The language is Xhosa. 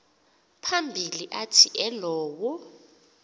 phambili athi elowo